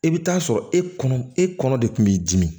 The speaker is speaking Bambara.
I bɛ taa sɔrɔ e kɔnɔ e kɔnɔ de kun b'i dimi